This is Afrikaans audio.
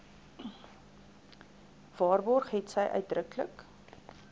waarborg hetsy uitdruklik